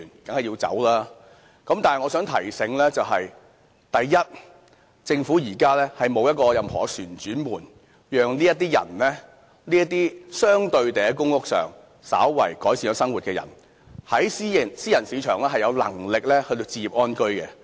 但是我想提醒大家，政府現在沒有任何一個旋轉門可讓這些人，這些生活稍為改善了的人，在私人市場置業安居的，因為他們還沒有能力。